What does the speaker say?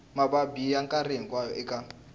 mavabyi ya nkarhi hinkwawo eka